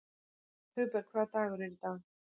Hugberg, hvaða dagur er í dag?